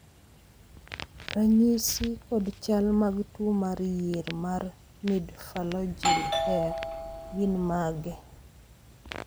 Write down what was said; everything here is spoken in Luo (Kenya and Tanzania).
ranyisi kod chal mag tuo mar yier mar Midphalangeal hair gin mage?